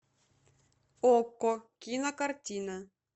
окко кинокартина